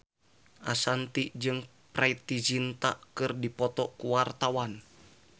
Ashanti jeung Preity Zinta keur dipoto ku wartawan